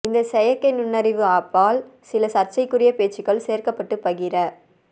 இந்த செயற்கை நுண்ணறிவு ஆப்பால் சில சர்ச்சைக்குரிய பேச்சுகள் சேர்க்கப்பட்டு பகிர